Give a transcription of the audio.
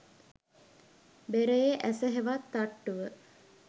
බෙරයේ ඇස හෙවත් තට්ටුව